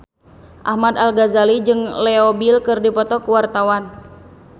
Ahmad Al-Ghazali jeung Leo Bill keur dipoto ku wartawan